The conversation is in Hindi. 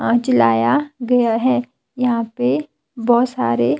आज लाया गया है यहां पे बहुत सारे--